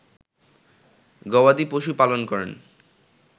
গবাদি পশু পালন করেন